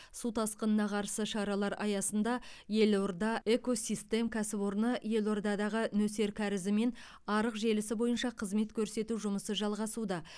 су тасқынына қарсы шаралар аясында елорда эко систем кәсіпорыны елордадағы нөсер кәрізі мен арық желісі бойынша қызмет көрсету жұмысы жалғасуда